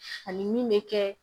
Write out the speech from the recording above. Ani min bɛ kɛ